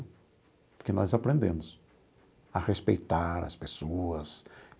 Porque nós aprendemos a respeitar as pessoas.